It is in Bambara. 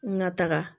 N ka taga